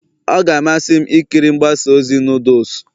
Ọ ga-amasị m ikiri mgbasa ozi noodles